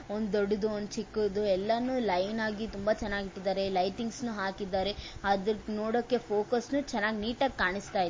ಒಂದು ದೊಡ್ಡದು ಒಂದು ಚಿಕ್ಕದು ಎಲ್ಲಾನು ಒಂದು ಲೈನ್ ಆಗಿ ತುಂಬಾ ಚೆನ್ನಾಗಿ ಇಟ್ಟಿದ್ದಾರೆ. ಲೈಟಿಂಗ್ಸ್ ನು ಹಾಕಿದ್ದಾರೆ ಅದನ್ನು ನೋಡಕ್ಕೆ ಫೋಕಸ್ಸು ಚೆನ್ನಾಗ್ ನೀಟಾಗಿ ಕಾಣುಸ್ತಾ ಇದೆ.